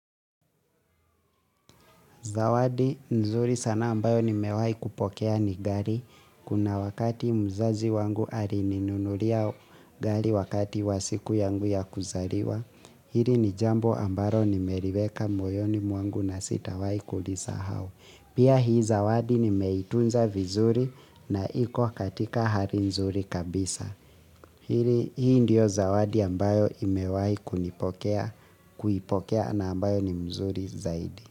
Zawadi nzuri sana ambayo nimewahi kupokea ni gari. Kuna wakati mzazi wangu alininunulia gari wakati wa siku yangu ya kuzaliwa. Hili ni jambo ambalo ni meriweka moyoni mwangu na sitawahi kulisahau. Pia hii zawadi nimeitunza vizuri na iko katika hali nzuri kabisa. Hii ndio zawadi ambayo nimewahi kuipokea na ambayo ni nzuri zaidi.